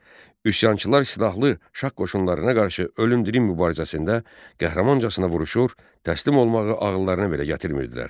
Üsyançılar silahlı şah qoşunlarına qarşı ölüm-dirim mübarizəsində qəhrəmancasına vuruşur, təslim olmağı ağıllarına belə gətirmirdilər.